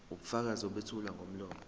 ubufakazi obethulwa ngomlomo